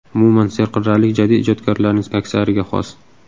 Umuman, serqirralik jadid ijodkorlarining aksariga xos.